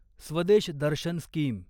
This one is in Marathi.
स्वदेश दर्शन स्कीम